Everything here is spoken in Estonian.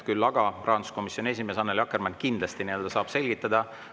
Küll on seda teinud rahanduskomisjoni esimees Annely Akkermann, kindlasti ta saab selgitada.